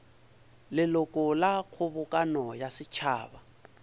leloko la kgobokano ya setšhaba